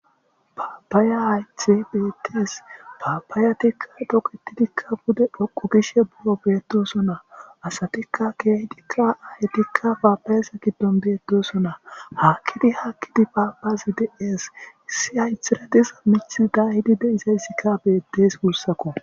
paapaya haythey betees paabaayatikka toqetidikka bude phoqu gishe buro beetosona asatikka keehdikka ayetikka paabayesa giddon beettosona hakkidi hakkidi paabazi de7ees issi haythiradisa mithi dayidi deizayssikka bettees gussakko